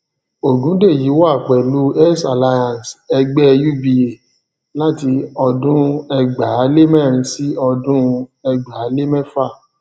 ogundeyi wà pẹlú heirs alliance ẹgbẹ uba láti ọdún ẹgbàálemẹrin sí ọdún ẹgbàálémẹfa